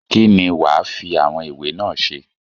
kín ni wàá fi àwọn ìwé náà ṣe?